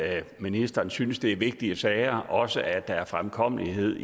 at ministeren synes at det er vigtige sager og også at der er fremkommelighed